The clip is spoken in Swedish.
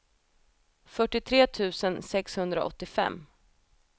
fyrtiotre tusen sexhundraåttiofem